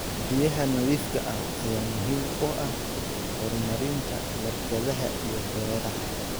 Biyaha nadiifka ah ayaa muhiim u ah horumarinta warshadaha iyo beeraha.